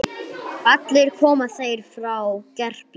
Allir koma þeir frá Gerplu.